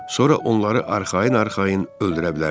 Sonra onları arxayın-arxayın öldürə bilərsiz.